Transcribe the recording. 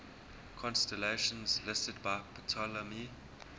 constellations listed by ptolemy